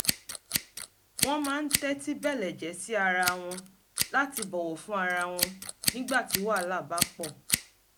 wọ́n máa ń tẹ́tí bẹ̀lẹ̀jẹ́ sí ara wọn láti bọ̀wọ̀ fún ara wọn nígbà tí wàhálà bá pọ̀